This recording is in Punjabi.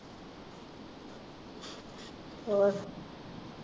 ਹੋਰ।